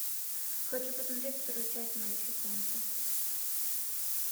хочу посмотреть вторую часть малефисенты